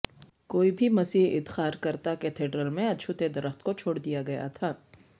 کوئی بھی مسیح ادقارکرتا کیتھیڈرل میں اچھوتے درخت کو چھوڑ دیا گیا تھا